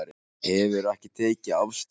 Hefur ekki tekið afstöðu